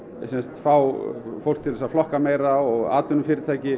fá fólk til að flokka meira og atvinnufyrirtæki